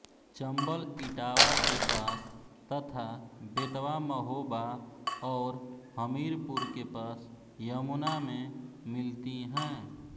चम्बल इटावा के पास तथा बेतवा महोबा और हमीरपुर के पास यमुना में मिलती हैं